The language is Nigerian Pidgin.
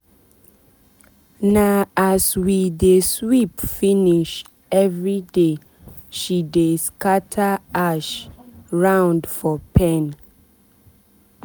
na as we dey sweep finish everyday she dey scatter ash round for pen.